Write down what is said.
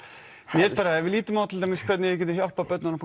mér finnst bara ef við lítum á til dæmis hvernig við getum hjálpað börnunum